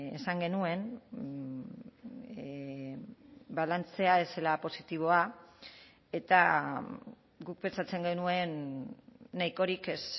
esan genuen balantzea ez zela positiboa eta guk pentsatzen genuen nahikorik ez